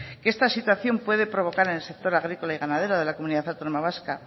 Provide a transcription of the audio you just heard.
que esta situación puede provocar en el sector agrícola y ganadero de la comunidad autónoma vasca